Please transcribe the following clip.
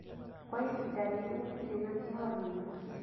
Kwa ihinda rĩrĩ gũtirĩ na kĩhonia